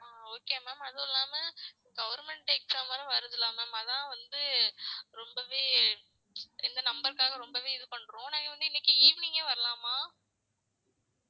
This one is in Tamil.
ஆஹ் okay ma'am அதுவும் இல்லாம government exam வேற வருதுல்ல ma'am அதான் வந்து ரொம்பவே இந்த number க்காக ரொம்பவே இது பண்றோம் நாங்க வந்து இன்ணைக்கு evening ஏ வரலாமா